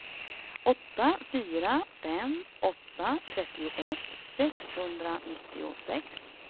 åtta fyra fem åtta trettioett sexhundranittiosex